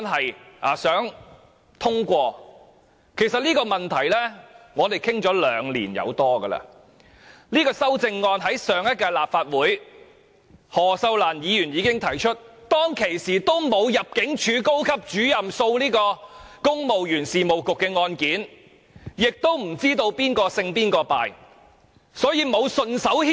事實上，我們就這項問題已討論了超過兩年，何秀蘭在上屆立法會提出這項修正案，當時尚未發生高級入境事務主任訴公務員事務局的案件，也不知道誰勝誰敗，所以我們沒有順手牽羊。